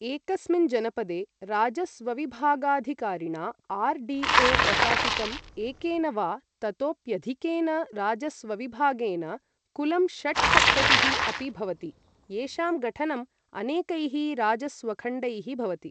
एकस्मिन् जनपदे राजस्वविभागाधिकारिणा आर् डी ओ प्रशासितम्, एकेन वा ततोप्यधिकेन राजस्वविभागेन कुलं षट्सप्ततिः अपि भवति, येषां गठनम् अनेकैः राजस्वखण्डैः भवति।